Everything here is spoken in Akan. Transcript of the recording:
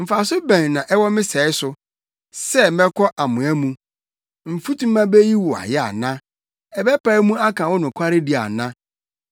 “Mfaso bɛn na ɛwɔ me sɛe so, sɛ mɛkɔ amoa mu? Mfutuma beyi wo ayɛ ana? Ɛbɛpae mu aka wo nokwaredi ana?